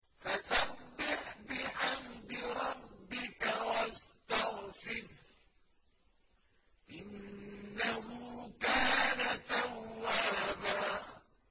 فَسَبِّحْ بِحَمْدِ رَبِّكَ وَاسْتَغْفِرْهُ ۚ إِنَّهُ كَانَ تَوَّابًا